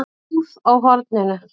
Búð á horninu?